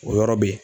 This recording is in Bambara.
O yɔrɔ be yen